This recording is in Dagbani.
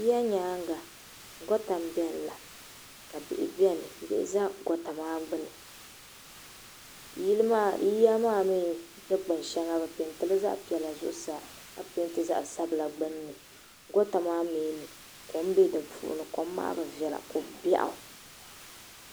yiya nyɛga gota n bɛni la ka bihi bɛni za gota maa gbani yiya maa mi si kpani shɛŋa be pɛntɛ ka pɛntɛ zaɣ sabinli nyɛli gota maa mi kom bɛ di puuni kom maa be viɛla ko bɛɣ'